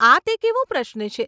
આ તે કેવો પ્રશ્ન છે!